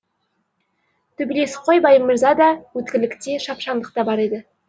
төбелесқой баймырзада өткірлік те шапшаңдық та бар еді